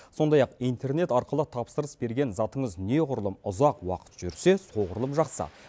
сондай ақ интернет арқылы тапсырыс берген затыңыз неғұрлым ұзақ уақыт жүрсе соғұрлым жақсы